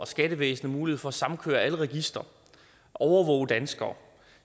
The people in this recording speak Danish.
skattevæsenet mulighed for at samkøre alle registre og overvåge danskerne